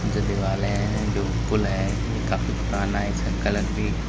जो दीवाले हैं जो पुल है ये काफी पुराना है इसका कलर भी--